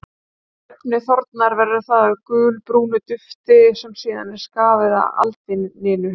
Þegar efnið þornar verður það að gulbrúnu dufti sem síðan er skafið af aldininu.